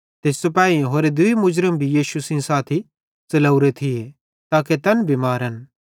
ते सिपाहेईं दूई होरे मुर्ज़म भी यीशु सेइं साथी च़लवरे थिये ताके तैन भी मारन